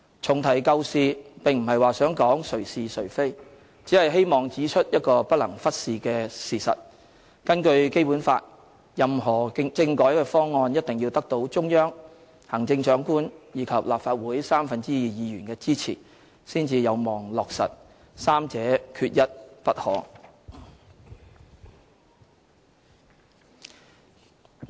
重提舊事，並非在指責誰是誰非，只是希望指出一個不能忽視的事實：根據《基本法》，任何政改方案，一定要得到中央、行政長官及立法會三分之二議員的支持，才有望落實，三者缺一不可。